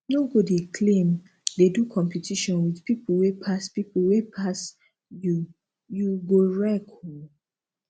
no go dey claim dey do competition with pipo wey pass pipo wey pass you you go wreck oo